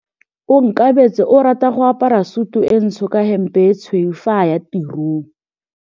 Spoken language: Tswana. Onkabetse o rata go apara sutu e ntsho ka hempe e tshweu fa a ya tirong.